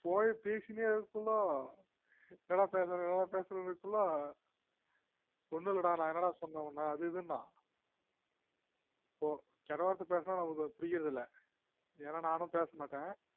போய்பேசிண்னே இருபேலோ என்னடா பேசற என்ன பேசுற இருக்குல என்னடா பேசுன பேசுன கேட்டா ஒன்னும் இல்லடா நான் என்னடா சொன்ன உன்ன அது இதுனா கெட்டவார்த்த பேசுனா நமக்கு அது புடிக்கறது இல்ல ஏன்னா நானும் பேச மாட்டேன்